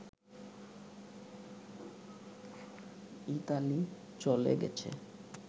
Italy চলে গেছে